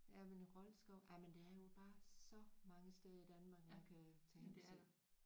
Ja men Rold skov jamen der er jo bare så mange steder i Danmark man kan tage hen og se